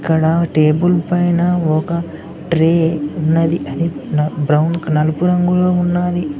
ఇక్కడ టేబుల్ పైన ఒక ట్రే ఉన్నది అది నా బ్రౌన్ కలర్ లో ఉన్నది.